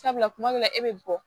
Sabula kuma min na e bɛ bɔ